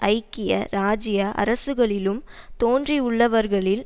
ஐக்கிய இராஜ்ய அரசுகளிலும் தோன்றியுள்ளவர்களில்